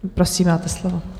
Prosím, máte slovo.